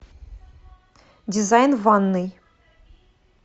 дизайн ванной